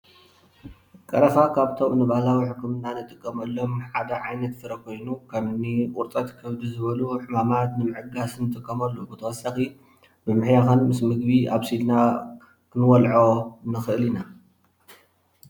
ቀረፋ ካፎቶሞ ንባህላዊ ሕክምና እንጥቀመሎም ዓደ ዓይነት ፍረ ኾይኑ ከምኒ ቁርፀት ከብዲ ዝበሉ ሕማማት ንምዕጋስ ንጥቀሙሉ ብተወሳኺ ብምሕያኽን ምስ ምግቢ ኣቢሲልና ክንበልዖ ንኽእል ኢና።